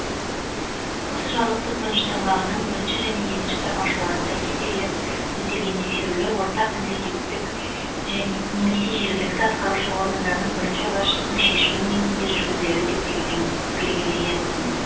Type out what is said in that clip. осы жарлықтың бірінші тармағының бірінші және екінші тармақшаларында көзделген тексерулер орталық мемлекеттік және немесе жергілікті атқарушы органның бірінші басшысының шешімі негізінде жүргізіледі деп белгілен белгіленсін